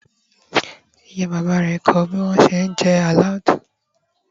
ìyá bàbá rẹ ko ni bi wọn ti n je aloud